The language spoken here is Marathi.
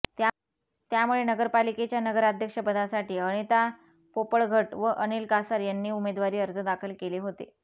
त्यामुळे नगरपालिकेच्या नगराध्यक्ष पदासाठी अनिता पोपळघट व अनिल कासार यांनी उमेदवारी अर्ज दाखल केले होते